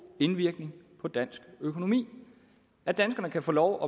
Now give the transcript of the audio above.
indvirkning på dansk økonomi at danskerne kan få lov